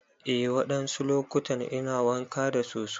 Eh wadansu lokutan ina wanka da soso.